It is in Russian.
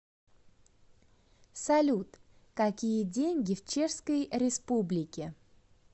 салют какие деньги в чешской республике